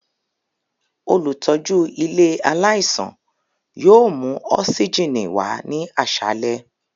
Olutọju ile alaisan yoo mu osigini wa ni aṣalẹ.